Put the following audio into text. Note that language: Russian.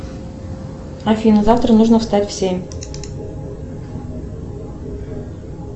афина завтра нужно встать в семь